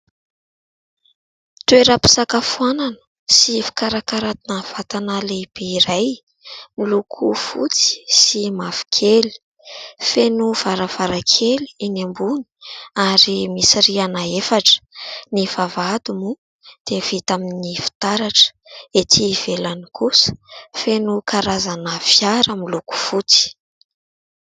Toeram-pisakafoanana sy fikarakarana vatana lehibe iray, miloko fotsy sy mavokely ; feno varavarakely eny ambony ary misy rihana efatra. Ny vavahady moa dia vita amin'ny fitaratra. Ety ivelany kosa feno karazana fiara miloko fotsy.